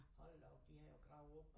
Hold da op de har jo gravet op